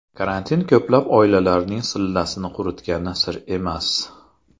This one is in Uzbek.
Karantin ko‘plab oilalarning sillasini quritgani sir emas.